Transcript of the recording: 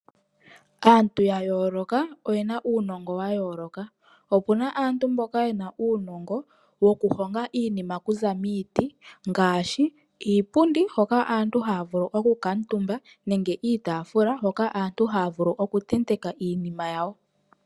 Aantu ya yooloka oye na uunongo wa yooloka. Opu na aantu mboka ye na uunongo woku honga iinima oku za miiti, ngaashi iipundi hoka aantu haa vulu oku kantumba nenge iitaafula, hoka aantu haa vulu oku tenteka iinima yawo.